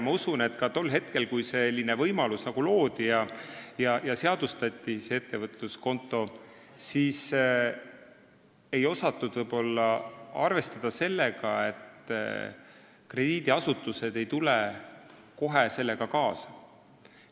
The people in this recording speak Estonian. Ma usun, et ka tol hetkel, kui selline võimalus loodi, ettevõtluskonto seadustati, ei osatud arvestada sellega, et krediidiasutused ei tule kohe kaasa.